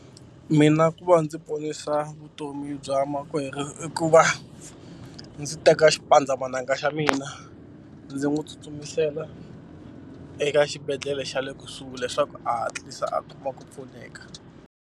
Mina ku va ndzi ponisa vutomi bya makwerhu i ku va ndzi teka xipandzamananga xa mina ndzi n'wi tsutsumisela eka xibedhlele xa le kusuhi leswaku a hatlisa a kuma ku pfuneka.